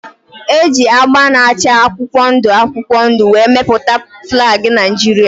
E ji agba na-acha akwụkwọ ndụ akwụkwọ ndụ wee mepụta flag Naijiria.